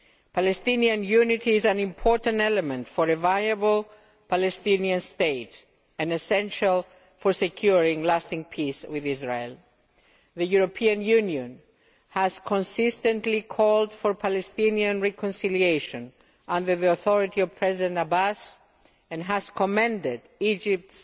Palestinian unity is an important element for a viable Palestinian state and essential for ensuring lasting peace with Israel. The European Union has consistently called for a Palestinian reconciliation under the authority of President Abbas and has commended Egypt's